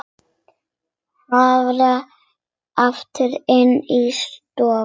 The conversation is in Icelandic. Hörfar aftur inn í stofu.